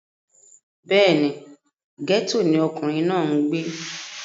bẹ́ẹ̀ni, gẹ́tò ni ọkùnrin náà ń gbé